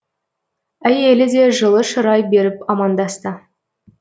әйелі де жылы шырай беріп амандасты